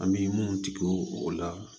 An bɛ mun tigɛ o la